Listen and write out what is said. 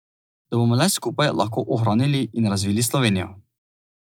Da bomo le skupaj lahko ohranili in razvili Slovenijo.